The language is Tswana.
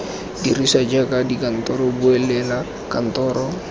dirisiwa jaaka dikantoro bulela kantoro